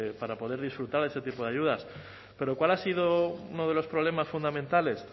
para poder disfrutar de ese tipo de ayudas pero cuál ha sido uno de los problemas fundamentales